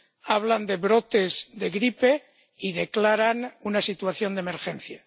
Hablan de brotes de gripe y declaran una situación de emergencia.